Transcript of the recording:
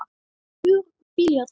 Hugur okkar hvílir hjá þeim.